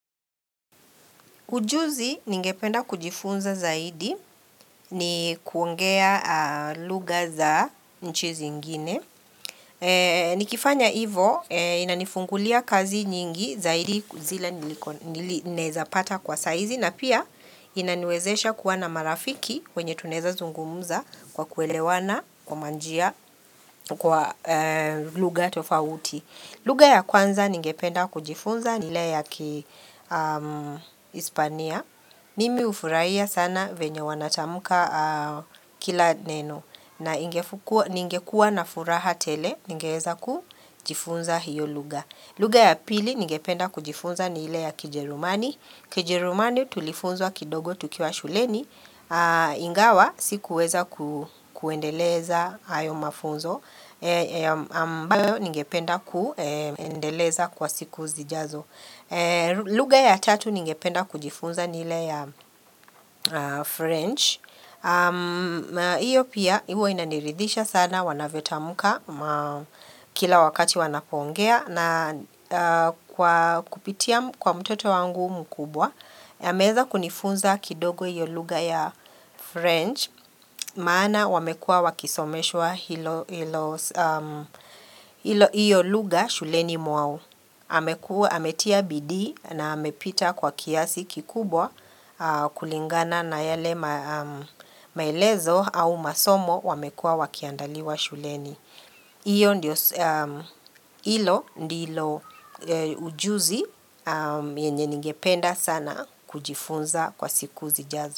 Ujuzi ningependa kujifunza zaidi ni kuongea lugha za nchi zingine. Nikifanya hivyo inanifungulia kazi nyingi zaidi zile nawezapata kwa saa hizi na pia inaniwezesha kuwana marafiki wenye tunaweza zungumuza kwa kuelewana kwa manjia kwa lugha tofauti. Lugha ya kwanza ningependa kujifunza ni hile ya Kihispania. Nimi hufurahia sana vyenye wanatamka kila neno na ningekua na furaha tele ningeweza kujifunza hiyo lugha. Lugha ya pili ningependa kujifunza ni ile ya Kijerumani. Kijerumani tulifunzwa kidogo tukiwa shuleni. Ingawa sikuweza ku kuendeleza hayo mafunzo. Ambayo ningependa kuendeleza kwa siku zijazo. Lugha ya tatu ningependa kujifunza ni ile ya French. Hiyo pia, huwa inaniridhisha sana, wanavyo tamuka kila wakati wanapongea. Na kwa kupitia kwa mtoto wangu mkubwa ameweza kunifunza kidogo hiyo lugha ya French. Maana wamekuwa wakisomeshwa hilo hilo hiyo lugha shuleni mwao amekuwa Ametia bidhii na amepita kwa kiasi kikubwa kulingana na yale ma maelezo au masomo wamekua wakiandaliwa shuleni. Hiyo ndiyo hilo ndilo ujuzi yenye ningependa sana kujifunza kwa siku zijazo.